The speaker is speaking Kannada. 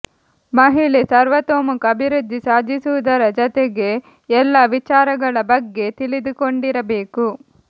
ಮಹಿಳೆ ಸರ್ವತೋಮುಖ ಅಭಿವೃದ್ಧಿ ಸಾಧಿಸುವುದರ ಜತೆಗೆ ಎಲ್ಲ ವಿಚಾರಗಳ ಬಗ್ಗೆ ತಿಳಿದುಕೊಂಡಿರಬೇಕು